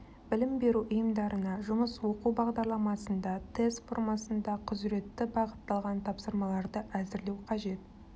білім беру ұйымдарына жұмыс оқу бағдарламасында тест формасында құзыретті бағытталған тапсырмаларды әзірлеу қажет